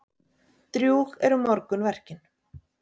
Drjúg eru morgunverkin.